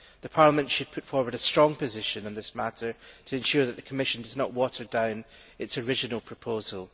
Parliament should put forward a strong position on this matter to ensure that the Commission does not water down its original proposal.